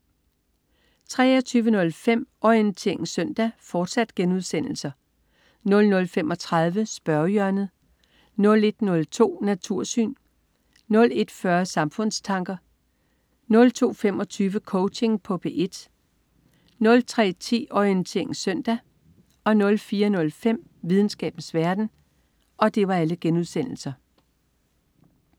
23.05 Orientering søndag* 00.35 Spørgehjørnet* 01.02 Natursyn* 01.40 Samfundstanker* 02.25 Coaching på P1* 03.10 Orientering søndag* 04.05 Videnskabens verden*